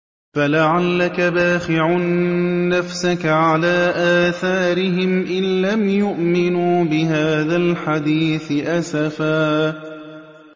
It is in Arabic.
فَلَعَلَّكَ بَاخِعٌ نَّفْسَكَ عَلَىٰ آثَارِهِمْ إِن لَّمْ يُؤْمِنُوا بِهَٰذَا الْحَدِيثِ أَسَفًا